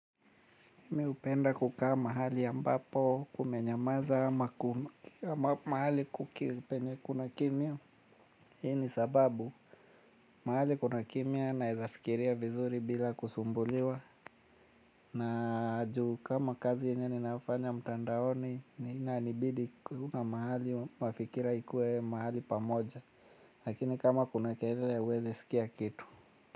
Mi hupenda kukaa mahali ambapo kumenyamaza ama kum, mahali kuki penye kuna kimya. Hii ni sababu mahali kuna kimya naeza fikiria vizuri bila kusumbuliwa. Na juu kama kazi yenye ni nafanya mtandaoni ni inanibidi ku, mahali mafikira ikue mahali pamoja. Lakini kama kuna kelele hauwezi sikia kitu.